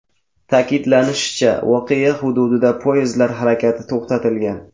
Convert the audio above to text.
Ta’kidlanishicha, voqea hududida poyezdlar harakati to‘xtatilgan.